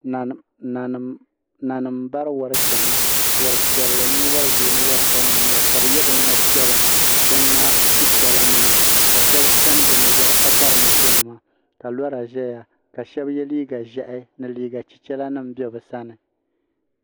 nanima m-bari warinima n-chana war' piɛlli mini wari' ʒee ni war' sabinli n-nyɛli ka bɛ ye binŋma' piɛla bini ŋmaai chichɛra nima ka shɛba chani bɛ nu' zaa ka bari moto nima ka lɔra ʒeya ka shɛba ye liiga ʒɛhi ni liiga chichɛra nima m-be bɛ sani.